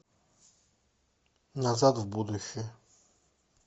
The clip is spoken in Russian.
назад в будущее